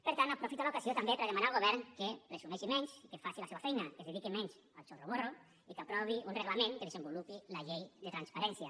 per tant aprofito l’ocasió també per a demanar al govern que presumeixi menys i que faci la seva feina que es dediqui menys al chorroborro i que aprovi un reglament que desenvolupi la llei de transparència